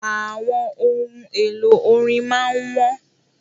Àwọn ohun èlò orin máà ń wọ́n.